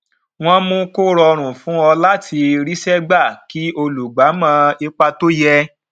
wọn mú kó rọrùn fún ọ láti ríṣẹ gbà kí olùgba mọ ipò tó yẹ